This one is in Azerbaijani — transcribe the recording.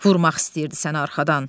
Vurmaq istəyirdi səni arxadan.